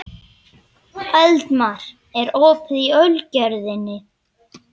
Eldmar, er opið í Ölgerðinni?